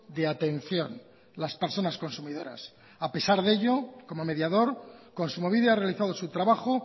de atención las personas consumidoras a pesar de ello como mediador kontsumobide ha realizado su trabajo